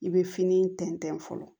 I bɛ fini tɛntɛn fɔlɔ